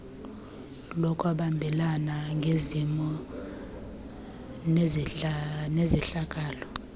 lokwabelana ngezimvo nezehlakalo